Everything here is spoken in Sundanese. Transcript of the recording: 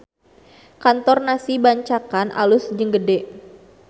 Kantor Nasi Bancakan alus jeung gede